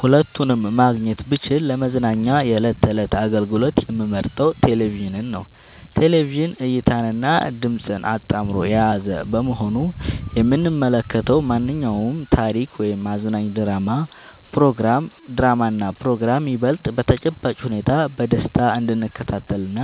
ሁለቱንም ማግኘት ብችል ለመዝናኛ የዕለት ተዕለት አገልግሎት የምመርጠው ቴሌቪዥንን ነው። ቴሌቪዥን እይታንና ድምጽን አጣምሮ የያዘ በመሆኑ የምንመለከተውን ማንኛውንም ታሪክ ወይም አዝናኝ ድራማና ፕሮግራም ይበልጥ በተጨባጭ ሁኔታ በደስታ እንድንከታተልና